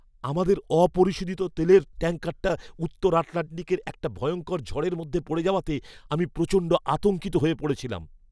আমাদের অপরিশোধিত তেলের ট্যাঙ্কারটা উত্তর আটলান্টিকের একটা ভয়ঙ্কর ঝড়ের মধ্যে পড়ে যাওয়াতে, আমি প্রচণ্ড আতঙ্কিত হয়ে পড়েছিলাম।